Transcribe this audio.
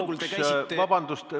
Vabandust!